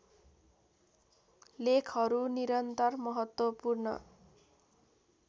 लेखहरू निरन्तर महत्त्वपूर्ण